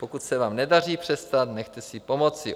Pokud se vám nedaří přestat, nechte si pomoci.